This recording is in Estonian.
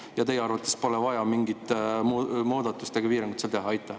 Kas teie arvates pole vaja mingit muudatust ega piirangut seal teha?